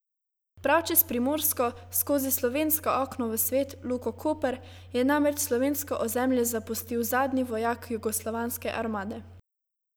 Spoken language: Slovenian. Prav čez Primorsko, skozi slovensko okno v svet, luko Koper, je namreč slovensko ozemlje zapustil zadnji vojak jugoslovanske armade.